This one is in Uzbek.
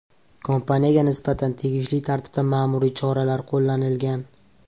Kompaniyaga nisbatan tegishli tartibda ma’muriy choralar qo‘llanilgan.